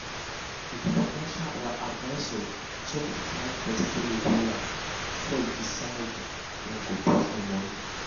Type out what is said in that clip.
the financial advisor check the client portfolio wella before e decide where him go put him money.